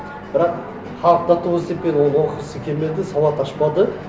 бірақ халық до такой степени оқығысы келмеді сауат ашпады